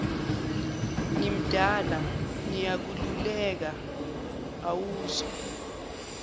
ngimdala ngiyakululeka awuzwa